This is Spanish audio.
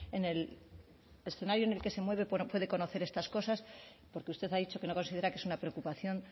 en el escenario en el que se mueve puede conocer estas cosas porque usted ha dicho que no considera que es una preocupación